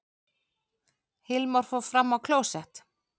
Hilmar fór fram á klósett.